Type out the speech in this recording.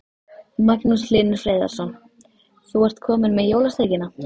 Magnús Hlynur Hreiðarsson: Þú ert komin með jólasteikina?